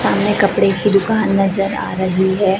सामने कपड़े की दुकान नजर आ रही है।